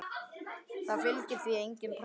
Það fylgir því engin pressa.